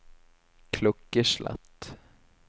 klokkeslett